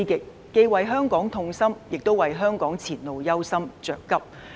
我們既為香港痛心，亦為香港前路憂心、着急。